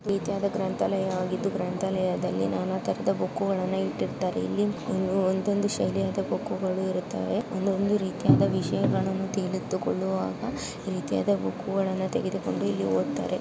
ನೀತ್ಯಾದ ಗ್ರಂತ್ಯಾಲಯ ಆಗಿದ್ದು ಗ್ರಂತಾಲಯದಲ್ಲಿ ನಾನಾ ತರಹದ ಬುಕ್ ಕೂಗಳನ್ನ ಇಟ್ಟಿರ್ತಾರೆ. ಇಲ್ಲಿ ಒಂದೊಂದು ಶೈಲಿ ಆದ ಬುಕ್ ಗಳು ಇರುತ್ತಾವೆ. ಒಂದೊಡನು ರೀತಿಯಿಂದ ವಿಷಯಗಳು ತೇಲಿತೊಗೊಳುವಾಗ ಈ ರೀತಿಯಾದ ಬುಕ್ ಗಳನ್ನೂ ತೆಗೆದುಕೊಂಡು ಇಲ್ಲಿ ಒದತಾರೆ.